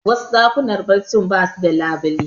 Wasu ɗakunan barci basu da labule